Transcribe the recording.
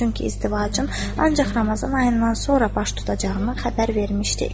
Çünki izdivacım ancaq Ramazan ayından sonra baş tutacağının xəbər vermişdik.